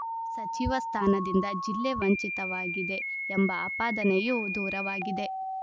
ಸಚಿವ ಸ್ಥಾನದಿಂದ ಜಿಲ್ಲೆ ವಂಚಿತವಾಗಿದೆ ಎಂಬ ಆಪಾದನೆಯೂ ದೂರವಾಗಿದೆ